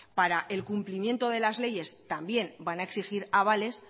para el cumplimiento de las leyes también van a exigir avales